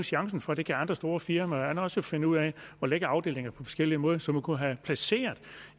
chancen for det kan andre store firmaer også finde ud at lægge afdelinger på forskellig måde så man kunne have placeret